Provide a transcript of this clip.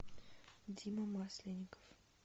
дима масленников